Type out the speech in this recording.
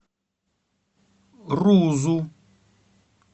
рузу